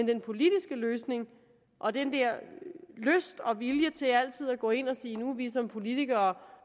den politiske løsning og den der lyst og vilje til altid at gå ind og sige nu er vi som politikere